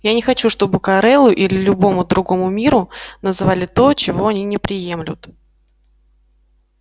я не хочу чтобы корелу или любому другому миру называли то чего они не приемлют